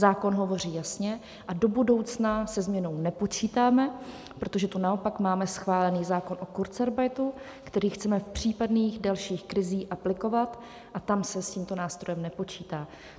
Zákon hovoří jasně a do budoucna se změnou nepočítáme, protože tu naopak máme schválen zákon o kurzarbeitu, který chceme v případných dalších krizích aplikovat, a tam se s tímto nástrojem nepočítá.